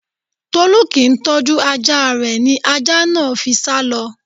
Tolú kì ń tọ́jú ajá rè, ní ajá náà ló fi sá lọ.